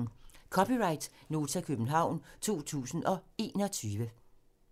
(c) Nota, København 2021